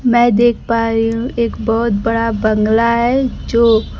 मै देख पा रही हूं एक बहोत बड़ा बंगला है जो--